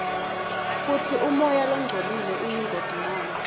kutsi umoya longcolile uyingoti ngani